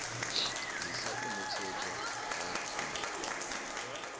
ḓisa u ṅetshedzwa ha tshumelo